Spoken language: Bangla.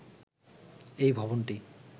এই ভবনটি